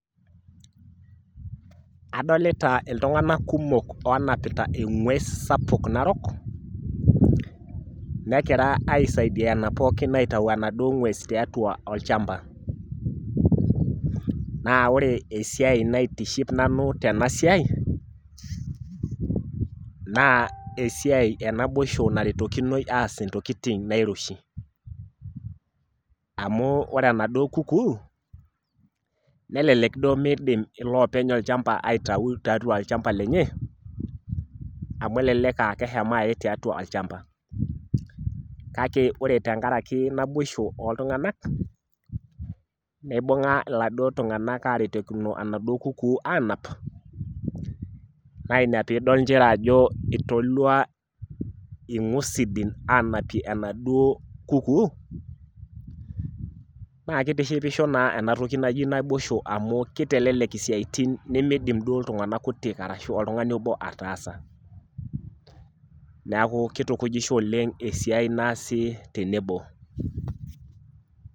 Adolita iltung'anak kumok onapita eng'ues sapuk narok, nekira aisaidiana pookin aitau enaduo ng'ues tiatua olchamba. Naa ore esiai naitiship nanu tena siai, naa esiai enaboisho naretokinoi aas intokiting nairoshi. Amu ore enaduo kukuu, nelelek duo midim ilopeny olchamba aitau tiatua olchamba lenye, amu elelek ah keshomo ae tiatua olchamba. Kake ore tenkaraki naboisho oltung'anak, ibung'a iladuo tung'anak aretokino enaduo kukuu anap, na ina pidol njere ajo itolua ing'usidin anapie enaduo kukuu, na kitishipisho naa enatoki naji naboisho amu kitelelek isiaitin nimidim duo iltung'anak kutik ashu oltung'ani obo ataasa. Neeku kitukujisho oleng esiai naasi tenebo.